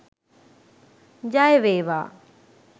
ජයවේවා